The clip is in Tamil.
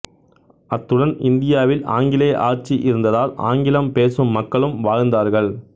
அத்துடன் இந்தியாவில் ஆங்கிலேய ஆட்சி இருந்ததால் ஆங்கிலம் பேசும் மக்களும் வாழ்ந்தார்கள்